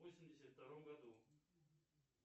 восемьдесят втором году